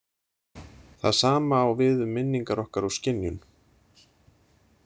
Það sama á við um minningar okkar og skynjun.